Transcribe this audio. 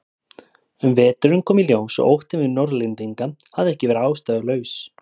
Um veturinn kom í ljós að óttinn við Norðlendinga hafði ekki verið ástæðulaus.